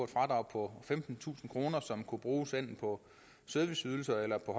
fradrag på femtentusind kr som kunne bruges enten på serviceydelser eller på